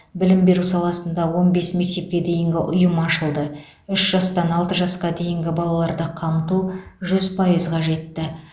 білім беру саласында он бес мектепке дейінгі ұйым ашылды үш жастан алты жасқа дейінгі балаларды қамту жүз пайызға жетті